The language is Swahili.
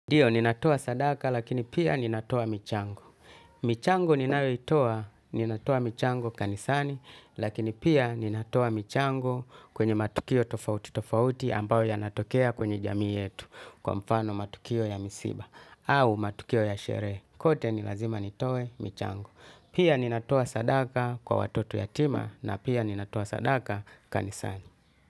Ndiyo, ninatoa sadaka lakini pia ninatoa michango. Michango ninayoitoa, ninatoa michango kanisani, lakini pia ninatoa michango kwenye matukio tofauti tofauti ambayo yanatokea kwenye jamii yetu kwa mfano matukio ya misiba au matukio ya sherehe, kote ni lazima nitoe michango. Pia ninatoa sadaka kwa watoto yatima na pia ninatoa sadaka kanisani.